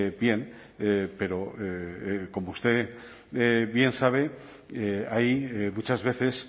bien pero como usted bien sabe hay muchas veces